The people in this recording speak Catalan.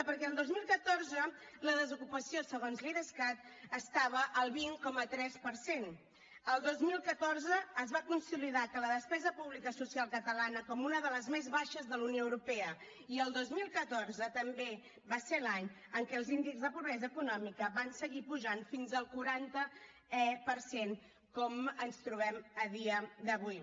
perquè el dos mil catorze la desocupació segons l’idescat estava al vint coma tres per cent el dos mil catorze es va consolidar la despesa pública social catalana com una de les més baixes de la unió europea i el dos mil catorze també va ser l’any en què els índexs de pobresa econòmica van seguir pujant fins al quaranta per cent com ens trobem a dia d’avui